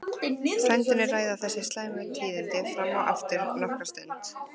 Frændurnir ræða þessi slæmu tíðindi fram og aftur nokkra stund.